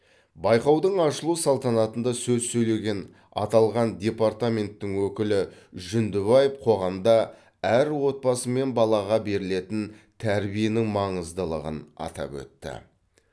байқаудың ашылу салтанатында сөз сөйлеген аталған департаменттің өкілі жүндібаев қоғамда әрбір отбасы мен балаға берілетін тәрбиенің маңыздылығын атап өтті